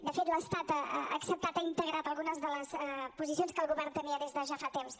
de fet l’estat ha acceptat ha integrat algunes de les posicions que el govern tenia des de ja fa temps